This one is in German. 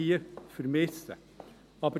Dies vermisse ich hier.